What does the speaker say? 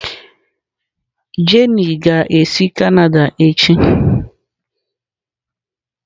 Jenny ga-esi Canada echi